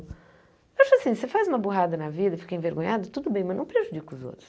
Acho assim, você faz uma burrada na vida e fica envergonhado, tudo bem, mas não prejudica os outros.